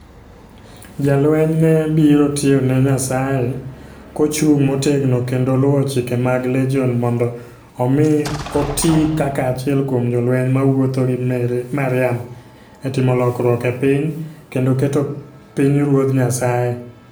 Jalweny ne biro tiyo ne Nyasaye kochung' motegno kendo luwo chike mag Legion mondo omi oti kaka achiel kuom jolweny mawuotho gi Mariam e timo lokruok e piny, kendo keto pinyruodh Nyasaye.